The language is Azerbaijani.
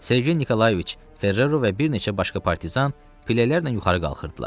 Sergey Nikolayeviç Ferrero və bir neçə başqa partizan pillələrlə yuxarı qalxırdılar.